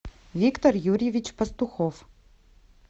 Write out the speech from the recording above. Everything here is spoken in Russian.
виктор юрьевич пастухов